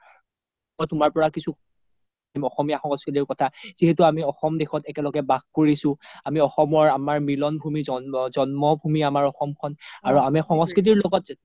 মই তুমাৰ পৰা কিছো জানিম অসমীয়া সংস্কৃতিৰ কথা যিহেতো আমি অসম দেশত একেলগে বাস কৰিছো আমি অসমৰ আমাৰ মিলোন্ভুমি জন্ম জন্মভুমি আমাৰ অসম খন আৰু আমি সংস্কৃতিৰ লগত